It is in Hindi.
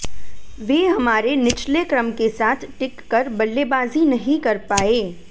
वे हमारे निचले क्रम के साथ टिककर बल्लेबाजी नहीं कर पाए